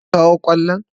Kun kawo kwallon?